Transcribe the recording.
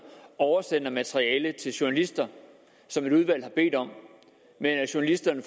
oversender materiale til journalister som et udvalg har bedt om at journalisterne